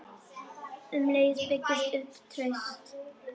Um leið byggist upp traust.